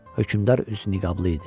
Hökmdar üzü niqablı idi.